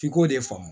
F'i k'o de faamu